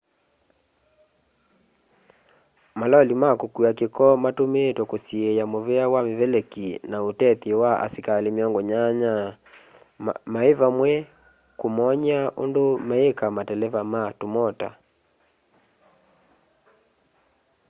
maloli ma kũkua kĩko matũmĩtwe kũsiĩya mũvea wa mĩveleki na ũtethyo wa asikalĩ 80 maĩvamwe kũmony'a ũndũ meĩka mateleva ma tũmota